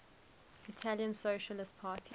italian socialist party